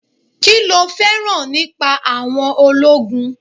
Kí lo féràn nípa àwọn ológun?